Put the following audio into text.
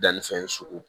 Danni fɛn sugu